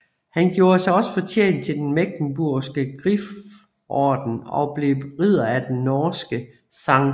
Han gjorde sig også fortjent til den Mecklenburgske Griforden og blev ridder af den norske St